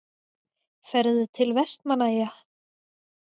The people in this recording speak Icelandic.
Ferðu til Vestmannaeyja?